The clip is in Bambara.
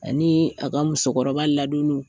Ani a ka musokɔrɔba ladonni.